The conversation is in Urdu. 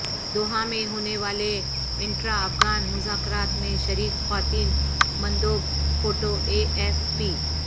دوحہ میں ہونے والے انٹرا افغان مذاکرات میں شریک خواتین مندوب فوٹو اے ایف پی